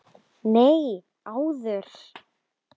Nei, áður.